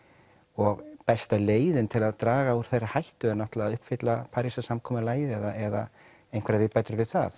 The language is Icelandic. og besta leiðin til að draga úr þeirri hættu er náttúrulega að uppfylla Parísarsamkomulagið eða einhverjar viðbætur við það